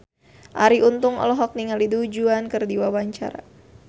Arie Untung olohok ningali Du Juan keur diwawancara